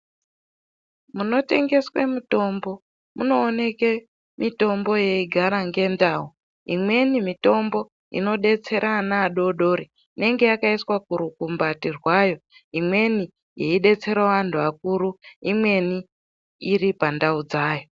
Munotengeswe mitombo munooneke mitombo yeigara ngendau imweni mitombo inobetsere ana adodori inenge yakaiswa kurukumbati rwayo imweni yeibetserawo antu akuru imweni iri pandau dzayo .